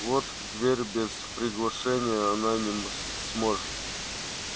вот в дверь без приглашения она не сможет